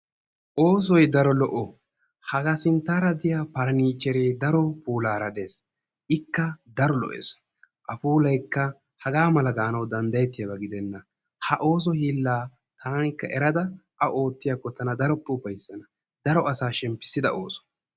Oosoy daro lo''o, haga sinttara diyaa faranichere daro puulara des, ikka daro lo''es. A puualykka haga mala gaanawu danddayettiyaaba gidena. ha ooso hiillaa taanikka erada taanikka ootiyaako tanakka daro ufayssana, daro asa shemppisida ooso